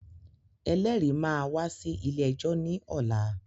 Ẹlẹ́rìí máa wá sí ilé-ẹjọ́ ní ọ̀la.